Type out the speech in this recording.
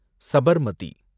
Sabarmati